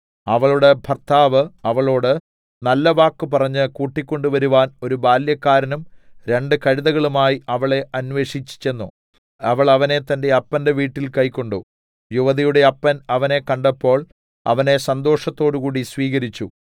അവളുടെ ഭർത്താവ് അവളോട് നല്ലവാക്ക് പറഞ്ഞ് കൂട്ടിക്കൊണ്ടുവരുവാൻ ഒരു ബാല്യക്കാരനും രണ്ട് കഴുതകളുമായി അവളെ അന്വേഷിച്ച് ചെന്നു അവൾ അവനെ തന്റെ അപ്പന്റെ വീട്ടിൽ കൈക്കൊണ്ടു യുവതിയുടെ അപ്പൻ അവനെ കണ്ടപ്പോൾ അവനെ സന്തോഷത്തോടുകൂടി സ്വീകരിച്ചു